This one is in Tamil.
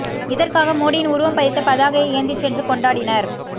இதற்காக மோடியின் உருவம் பதித்த பதாகையை ஏந்தி சென்று கொண்டாடினர்